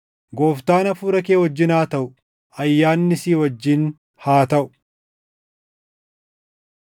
Gooftaan hafuura kee wajjin haa taʼu. Ayyaanni si wajjin haa taʼu.